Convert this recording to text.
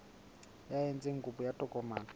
ya etsang kopo ya tokomane